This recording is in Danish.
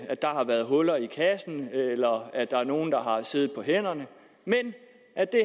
at der har været huller i kassen eller at der er nogle der har siddet på hænderne men at det